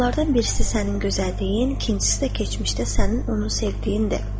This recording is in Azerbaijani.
Onlardan birisi sənin gözəlliyin, ikincisi də keçmişdə sənin onu sevdiyindir.